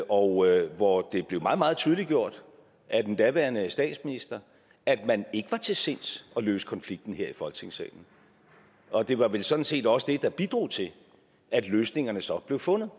og hvor det blev meget meget tydeliggjort af den daværende statsminister at man ikke var til sinds at løse konflikten her i folketingssalen og det var vel sådan set også det der bidrog til at løsningerne så blev fundet